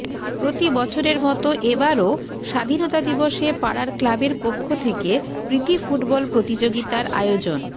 প্রতি বছরের মতো এ বারও স্বাধীনতা দিবসে পাড়ার ক্লাবের পক্ষ থেকে প্রীতি ফুটবল প্রতিযোগিতার আয়োজন